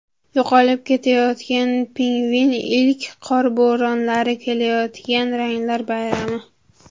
Yo‘qolib ketayotgan pingvin, ilk qor bo‘ronlari, kelayotgan ranglar bayrami.